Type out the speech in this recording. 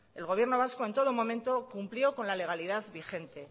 el gobierno vasco en todo momento cumplió con la legalidad vigente